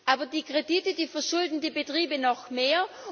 Aber die Kredite verschulden die Betriebe noch mehr.